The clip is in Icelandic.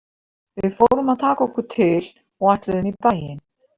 Við fórum að taka okkur til og ætluðum í bæinn.